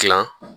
Kila